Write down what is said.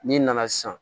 N'i nana sisan